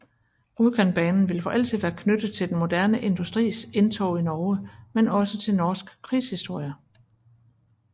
Rjukanbanen vil for altid være knyttet til den moderne industris indtog i Norge men også til norsk krigshistorie